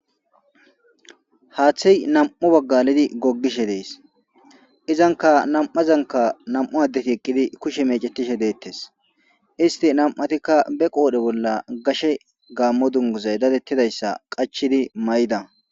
Haaththey nam'u baggalidi gogishe dees izanka nam'azanka nam'u addeti eqkidi kushe mecetishe deettes isti nam'atikka be qoodhe bolla gashe gaammo dunguzay dadettidayssa qachidi may'da